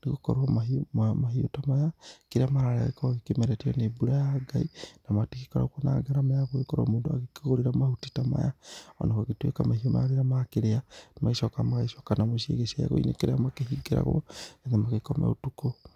nĩ gũkorwo mahiũ maya mahiũ ta maya kĩrĩa mararĩa gĩkoragwo kĩmeretio nĩ mbura ya Ngai, na matigĩkoragwo ma garama ya gũgĩkorwo mũndũ agĩkĩgũrĩra mahuti ta maya, ona gũgĩtuĩka mahiũ magĩra makĩrĩa magĩcokaga magagĩcoka na muciĩ gĩcegũ-inĩ kĩrĩa makĩhingĩragwo nĩgetha magĩkome ũtukũ.